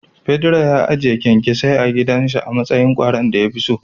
Pedro ya ajiye kyankyasai a gidanshi amatsayin kwaron dayakeso.